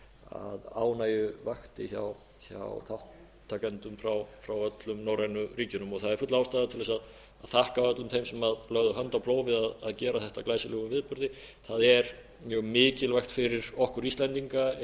að ég held þannig að ánægju vakti hjá þátttakendum frá öllum norrænu ríkjunum það er full ástæða til þess að þakka öllum en sem lögðu hönd á plóg að við að gera þetta að glæsilegum viðburði það er mjög mikilvægt fyrir okkur íslendinga